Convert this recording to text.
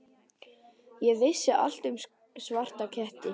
Ég vissi allt um svarta ketti.